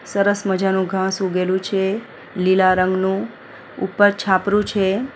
સરસ મજાનું ઘાસ ઉગેલુ છે લીલા રંગનું ઉપર છાપરું છે.